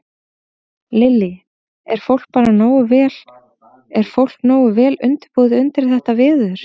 Lillý: Er fólk bara nógu vel, er fólk nógu vel undirbúið undir þetta veður?